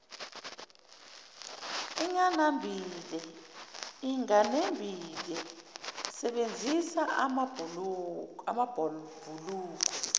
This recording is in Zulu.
inganembile sebenzisa amabhulokwe